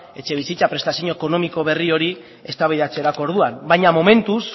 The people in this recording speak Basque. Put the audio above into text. etxebizitza prestazio ekonomiko berri hori eztabaidatzerako orduan baina momentuz